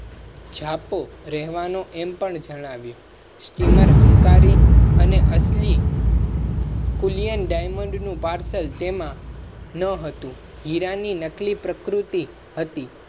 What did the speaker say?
છાપો રેવા નું એમ પણ જણાવ્યું. સ્ટીમર હંકારી અને અસલી. કુલિયન ડાયમન્ડ નું પાર્સલ ના હતું તેમાં હીરા ની નકલી પ્રકૃતિ હતી.